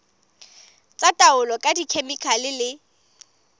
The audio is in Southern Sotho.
tsa taolo ka dikhemikhale le